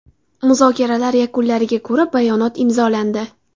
Muzokaralar yakunlariga ko‘ra bayonot imzolandi.